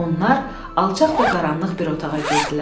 Onlar alçaq və qaranlıq bir otağa girdilər.